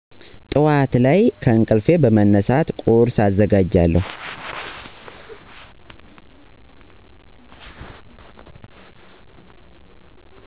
ጧዕት ላይ ከእንቅልፌ በመነሳት ቁርሰ አዘጋጃለሁ።